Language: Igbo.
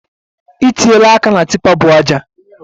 I tiela aka na tipa bu aja